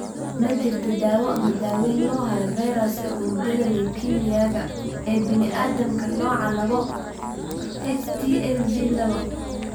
Ma jirto daawo ama daaweyn loo hayo fayraska unugyada leukemia-ga ee bini'aadamka, nooca labo (HTLV laba).